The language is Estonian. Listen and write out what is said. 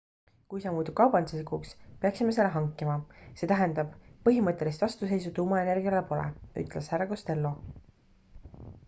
kui see muutub kaubanduslikuks peaksime selle hankima see tähendab põhimõttelist vastuseisu tuumaenergiale pole ütles hr costello